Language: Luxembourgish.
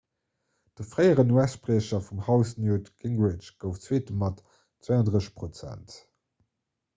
de fréieren us-spriecher vum haus newt gingrich gouf zweete mat 32 prozent